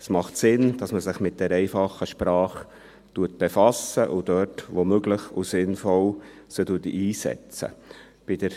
Es macht Sinn, dass man sich mit der einfachen Sprache befasst und sie dort einsetzt, wo es möglich und sinnvoll ist.